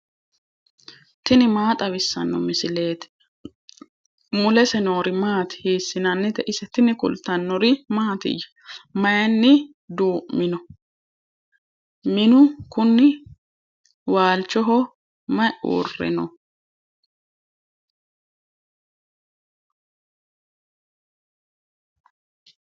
tini maa xawissanno misileeti ? mulese noori maati ? hiissinannite ise ? tini kultannori mattiya? Mayiinni duu'minno? minnu kunni? waalichoho mayi uure noosi?